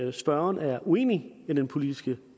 at spørgeren er uenig i den politiske